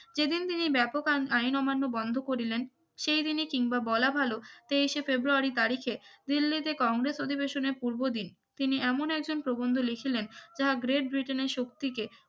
যেদিন তিনি ব্যাপক আন আইন অমান্য বন্ধ করিলেন সেই দিনই কিংবা বলা ভালো তেইসে ফেব্রুয়ারি তারিখে দিল্লিতে কংগ্রেস অধিবেশনের পূর্ব দিন তিনি এমন একজন প্রবন্ধ লিখিলেন যাহা গ্রেট ব্রিটেনের শক্তিকে